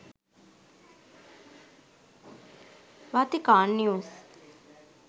vatican news